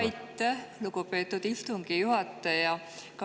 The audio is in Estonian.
Aitäh, lugupeetud istungi juhataja!